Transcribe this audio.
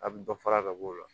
A bɛ dɔ fara ka b'o la